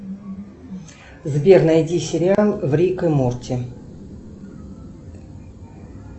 сбер найди сериал рик и морти